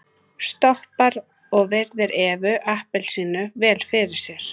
Stoppar og virðir Evu appelsínu vel fyrir sér.